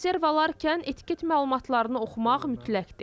Konserv alarkən etiket məlumatlarını oxumaq mütləqdir.